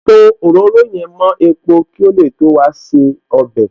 Pò òróró yẹn mo epo kí ó lè tó wa se ọbẹ̀